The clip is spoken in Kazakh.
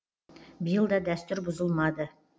биыл да дәстүр бұзылмады